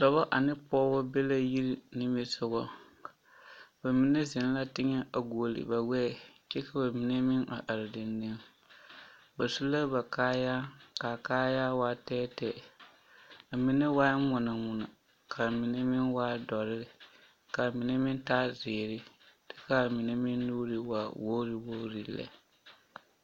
Dɔba ane pɔgeba be la yiri nimisogɔ ba mine zeŋ la teŋɛ a guoli ba gbɛɛ kyɛ ka ba mine meŋ a are dendeŋ ba su la ba kaayaa k,a kaayaa waa tɛɛtɛɛ a mine waa ŋmono ŋmono k,a mine meŋ waa dɔre k,a mine meŋ taa zeere kyɛ k,a mine meŋ nuuri waa wogri wogri lɛ.